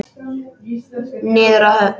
Niður að höfn.